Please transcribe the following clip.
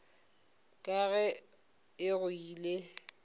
ka ga e go ile